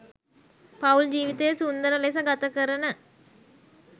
පවුල් ජීවිතය සුන්ඳර ලෙස ගතකරන